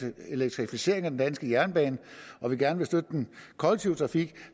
elektrificering af den danske jernbane og gerne vil støtte den kollektive trafik